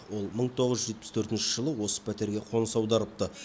ол мың тоғыз жүз жетпіс төртінші жылы осы пәтерге қоныс аударыпты